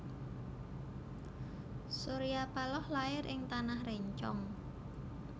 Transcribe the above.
Surya Paloh lair ing Tanah Rencong